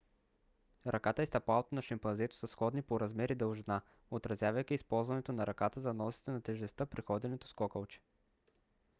ръката и стъпалото на шимпанзето са сходни по размер и дължина отразявайки използването на ръката за носене на тежестта при ходенето с кокалче